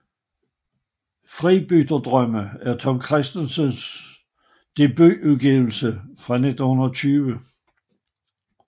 Fribytterdrømme er Tom Kristensens debutudgivelse fra 1920